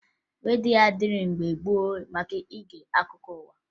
Redio adịghị mgbe gboo maka ige akụkọ ụwa